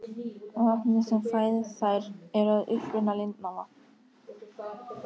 Vatnið sem fæðir þær er að uppruna lindavatn.